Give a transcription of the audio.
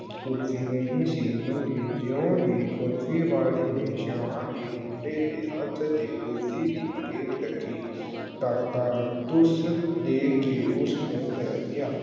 ਕੁਲਫ਼ੀ ਨਹੀਂ ਸੀ ਮੰਗੀ, ਜਿਉਂ ਹੀ ਕੁਲਫ਼ੀ ਵਾਲੇ ਨੇ ਸ਼ਾਹਾਂ ਦੇ ਮੁੰਡੇ ਦੇ ਹੱਥ ਤੇ ਕੁਲਫ਼ੀ ਦੀ ਪਲੇਟ ਰੱਖੀ ਕਾਕਾ ਧੁੱਸ ਦੇ ਕੇ ਉਸ ਨੂੰ ਪੈ ਗਿਆ।